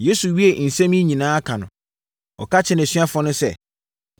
Yesu wiee nsɛm yi nyinaa ka no, ɔka kyerɛɛ nʼasuafoɔ no sɛ,